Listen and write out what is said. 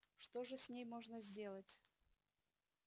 что же с ней можно сделать